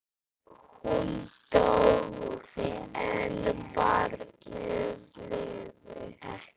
Hún dó en barnið lifði.